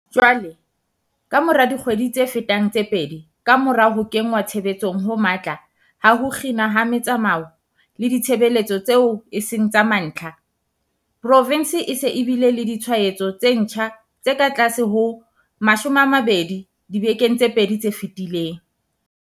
Jwale, kamora dikgwedi tse fetang tse pedi kamora ho kenngwa tshebetsong ho matla ha ho kginwa ha metsamao le ditshebeletso tseo e seng tsa mantlha, provense e se e bile le ditshwaetso tse ntjha tse katlase ho 20 dibekeng tse pedi tse fetileng.